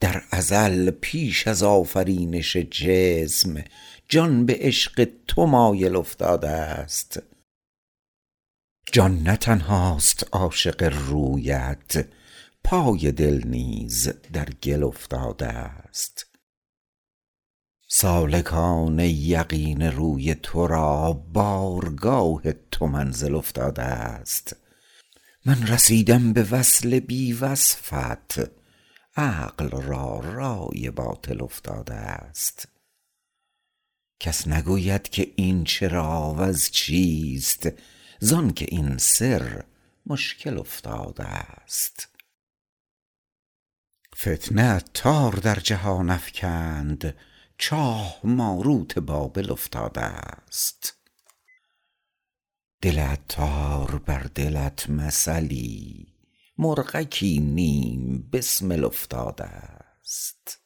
در ازل پیش از آفرینش جسم جان به عشق تو مایل افتادست جان نه تنهاست عاشق رویت پای دل نیز در گل افتادست سالکان یقین روی تو را بارگاه تو منزل افتادست من رسیدم به وصل بی وصفت عقل را رای باطل افتادست کس نگوید که این چرا وز چیست زانکه این سر مشکل افتادست فتنه عطار در جهان افکند چاه ماروت بابل افتادست دل عطار بر دلت مثلی مرغکی نیم بسمل افتادست